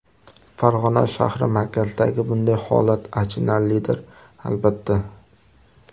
Farg‘ona shahri markazidagi bunday holat achinarlidir albatta.